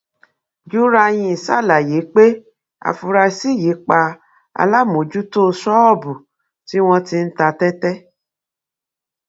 juranyin ṣàlàyé pé afurasí yìí pa alámòójútó ṣọọbù tí wọn ti ń ta tẹtẹ